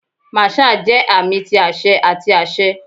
Marshal jẹ aami ti aṣẹ ati aṣẹ.